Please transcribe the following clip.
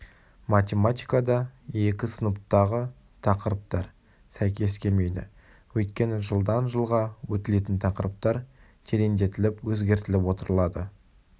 математикада екі сыныптағы тақырыптар сәйкес келмейді өйткені жылдан-жылға өтілетін тақырыптар тереңдетіліп өзгертіліп отырылады